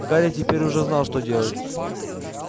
гарри теперь уже знал что делать